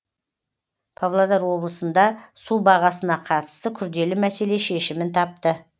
павлодар облысында су бағасына қатысты күрделі мәселе шешімін тапты